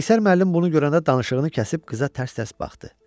Qeyşər müəllim bunu görəndə danışığını kəsib qıza tərs-tərs baxdı.